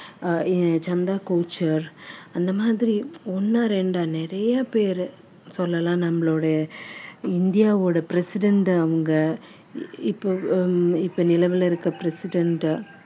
ஆஹ் ஏ~ சந்தா கோச்சர் இந்த மாதிரி ஒண்ணா ரெண்டா நிறைய பேரு சொல்லலாம் நம்மளுடைய இந்தியாவோட president அவங்க இப்போ ஹம் நிலவுல இருக்கிற president